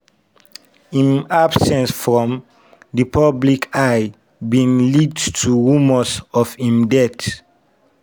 im absence from di public eye bin lead to rumours of im death.